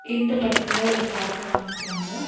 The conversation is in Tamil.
இந்த படத்தல ஒரு பார்க்க காமிக்கிறாங்க.